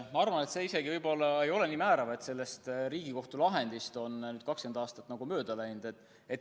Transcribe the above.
Ma arvan, et see võib-olla ei olegi nii määrav, et sellest Riigikohtu lahendist on nüüdseks 20 aastat mööda läinud.